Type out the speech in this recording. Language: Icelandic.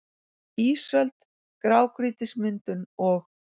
ÍSÖLD- GRÁGRÝTISMYNDUN OG